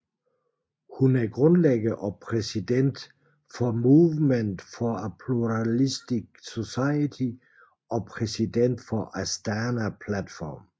Hun er grundlægger og præsident for Movement for a Pluralistic Society og præsident for Astana Platform